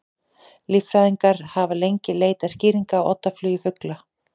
Líffræðingar hafa lengi leitað skýringa á oddaflugi fugla.